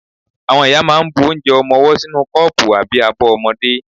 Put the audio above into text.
Àwọn ìyá máà ń bu onje ọmọwọ́ sínú kọ́pù àbí abọ́ ọmọdé.